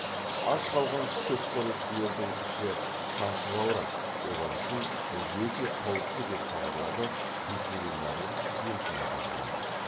аш қалған шөпқоректілердің іші шаншып ауырады олар үшін бұл өте қауіпті деп хабарлады ветеринарлық емханадағылар